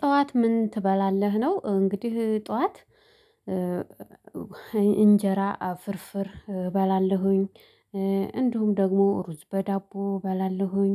ጠዋት ምን ትበላለህ ነው? እንግዲህ ጠዋት እንጀራ አፍርፍር እባላለሁኝ። እንዲሁም ደግሞ ሩዝ በዳቦ እባላለሁኝ።